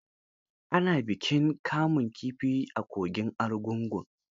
Ana bikin kamun kifi a kogin argungu.